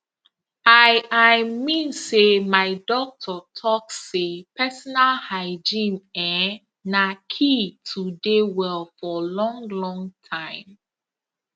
i i mean say my doctor talk say personal hygiene ehnnn na key to dey well for long long time